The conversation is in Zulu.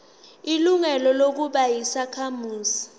ilungelo lokuba yisakhamuzi